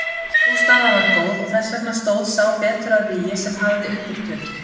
Sú staða var góð og þess vegna stóð sá betur að vígi sem hafði undirtökin.